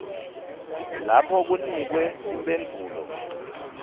lapho kunikwe timphendvulo